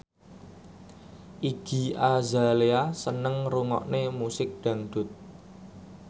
Iggy Azalea seneng ngrungokne musik dangdut